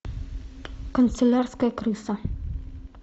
канцелярская крыса